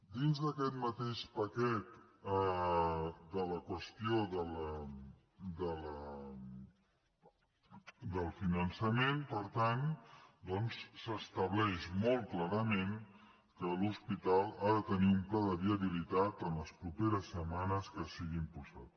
dins d’aquest mateix paquet de la qüestió del finançament per tant doncs s’estableix molt clarament que l’hospital ha de tenir un pla de viabilitat en les properes setmanes que sigui impulsat